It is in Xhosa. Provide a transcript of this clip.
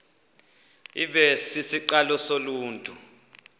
ibe sisiqalo soluntu